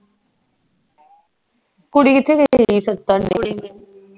ਕੁੜੀ ਕਿਥੇ ਗਈ